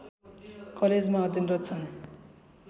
कलेजमा अध्यनरत छन्